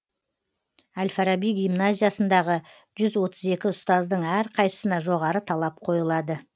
әл фараби гимназиясындағы жүз отыз екі ұстаздың әрқайсысына жоғары талап қойылады